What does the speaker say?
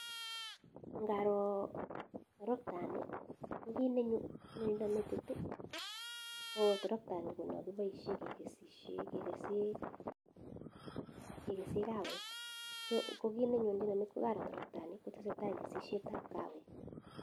Ngaroo troktani ko kit neny, ne leina metit ii ko troktani ko non koboisien kekesisien, kegese kawek, so ko kit nenyonjina metit ko karoo troktani ko tesetai kesisietab kawek.